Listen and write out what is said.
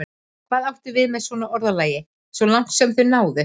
Hvað áttu við með svona orðalagi: svo langt sem þau náðu?